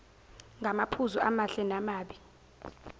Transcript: ngamaphuzu amahle namabi